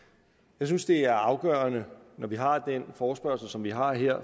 jeg synes det er afgørende når vi har den forespørgsel som vi har her